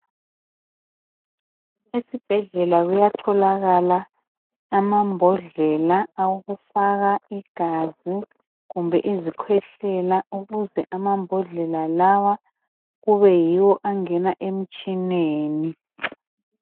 Esibhedlela kuyatholakala ama mbodlela awokufaka igazi kumbe izikhwehlela ukuze amambodlela lawa kube yiwo angena emtshineni.